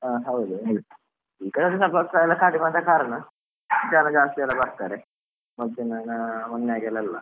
ಹಾ ಹೌದು, ಈಗ ಎಲ್ಲಾ ವಾಪಸ್ ಸರಿಯಾದ ಕಾರಣ ಜನ ಜಾಸ್ತಿ ಎಲ್ಲ ಬರ್ತಾರೆ, ಮತ್ತೆ ಮೊನ್ನೆ ಆದ ಹಾಗೆ ಎಲ್ಲಾ ಅಲ್ಲ.